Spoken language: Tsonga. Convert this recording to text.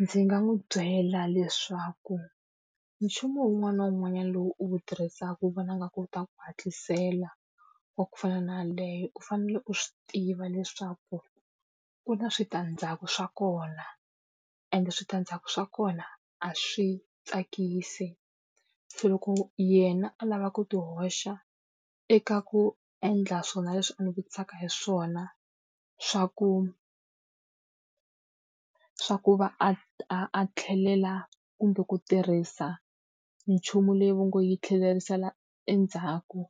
Ndzi nga n'wi byela leswaku nchumu wun'wana na wun'wanyana lowu u wu tirhisaka u vona a nga kota ku hatlisela wa ku fana na yaleyo u fanele u swi tiva leswaku ku na switandzhaku swa kona, ende switandzhaku swa kona a swi tsakisi. Se loko yena a lava ku ti hoxa eka ku endla swona leswi a ni vutisaka hi swona, swa ku swa ku va a a a tlhelela kumbe ku tirhisa nchumu leyi va ngo yi tlherisela endzhaku